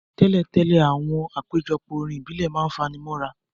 Tẹ́lẹ̀tẹ́lẹ̀, àwọn àpéjọpọ̀ orin ìbílẹ̀ ma n fani mọ́ra.